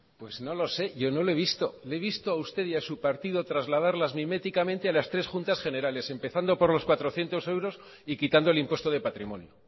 pues no lo sé yo no le he visto le he visto a usted y a su partido trasladarlas miméticamente a las tres juntas generales empezando por los cuatrocientos euros y quitando el impuesto de patrimonio